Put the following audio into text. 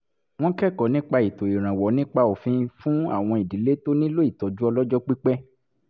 wọ́n kẹ́kọ̀ọ́ nípa ètò ìrànwọ́ nípa òfin fún àwọn ìdílé tó nílò ìtọ́jú ọlọ́jọ́ pípẹ́